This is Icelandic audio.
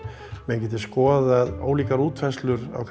menn geti skoðaða ólíkar útfærslur á